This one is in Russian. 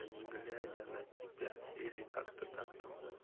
не глядя на тебя или как-то так там было